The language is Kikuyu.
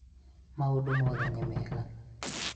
maũndũ mothe nĩ mega